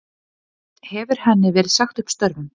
Hefur henni verið sagt upp störfum